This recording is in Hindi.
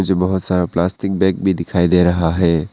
मुझे बहुत सारा प्लास्टिक बैग भी दिखाई दे रहा है।